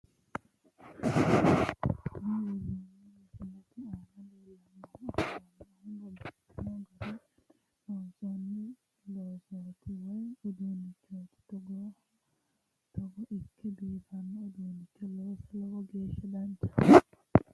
Kuni woroonni misilete aana leellanni afamannohu babbaxxino garinni loonsoonni loosooti woyi uduunnichooti togooha togo ikke biifanno uduunnicho looso lowo geeshsha danchate